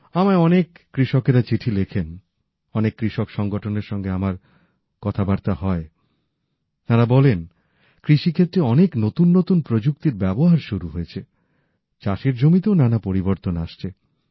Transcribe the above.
আমায় অনেক কৃষকেরা চিঠি লেখেন অনেক কৃষক সংগঠনের সঙ্গে আমার কথাবার্তা হয় তারা বলেন কৃষি ক্ষেত্রে অনেক নতুন নতুন প্রযুক্তির ব্যবহার শুরু হয়েছে চাষের জমিতেও নানা পরিবর্তন আসছে